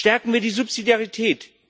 Stärken wir die Subsidiarität!